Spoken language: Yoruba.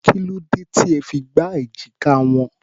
Kí ló dé tí ẹ fi gbá èjìká wọn?